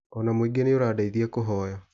Ona mũingĩ nĩ ũradeithia kũhoya.